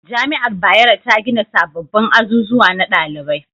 Jami'ar bayero ta gina sababbin azuzuwa na dalibai